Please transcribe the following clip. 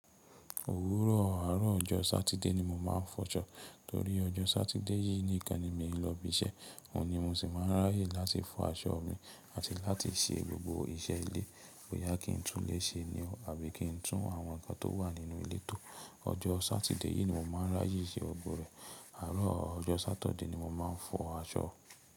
Òwúrọ̀ àárọ̀ ọjọ́ Sátidé ni mo máa ń fọṣọ. Torí ọjọ́ Sátidé yìí nìkan ni mi ò lọ ibi iṣẹ́. Òun ni mo sì máa ń ráyè láti fọ aṣọ mi àti láti ṣe gbogbo iṣẹ́ ilé tí boyá kì ń tún lè ṣe ní o, àbí kí n tún àwọn ǹkan tó wà nínú ilé tò. Ọjọ́ Sátidé yìí ni mo máa ń ráyè ṣe ọ̀gbọ̀ rẹ̀. Àárọ̀ ọjọ́ Sátọ̀dé ni mo máa ń fọ aṣọ.